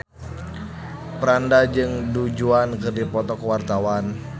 Franda jeung Du Juan keur dipoto ku wartawan